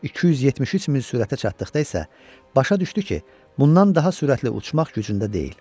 273 min sürətə çatdıqda isə başa düşdü ki, bundan daha sürətli uçmaq gücündə deyil.